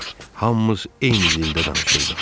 Hamımız eyni dildə danışırdıq.